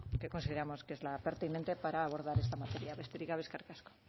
que consideramos que es la pertinente para abordar esta materia besterik gabe eskerrik asko